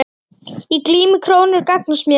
Í glímu krókur gagnast mér.